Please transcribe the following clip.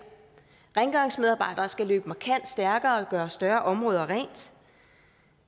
rengøringsmedarbejdere skal løbe markant stærkere og gøre større områder rent